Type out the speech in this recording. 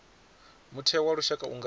mutheo wa lushaka u nga